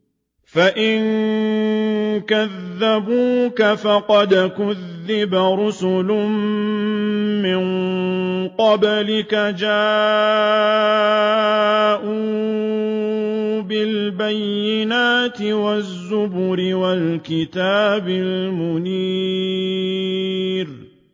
فَإِن كَذَّبُوكَ فَقَدْ كُذِّبَ رُسُلٌ مِّن قَبْلِكَ جَاءُوا بِالْبَيِّنَاتِ وَالزُّبُرِ وَالْكِتَابِ الْمُنِيرِ